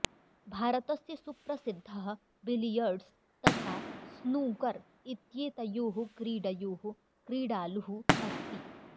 भारतस्य सुप्रसिद्धः बिलियर्ड्स् तथा स्नूकर् इत्येतयोः क्रीडयोः क्रीडालुः अस्ति